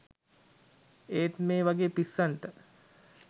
ඒත් මේ වගේ පිස්සන්ට